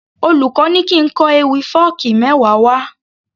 Olùkó ní kín kọ ewì fọ́ọ̀kí mẹ́wa wá